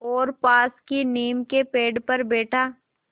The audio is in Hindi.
और पास की नीम के पेड़ पर बैठा